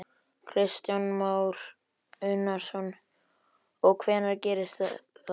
Kristján Már Unnarsson: Og hvenær gerist það?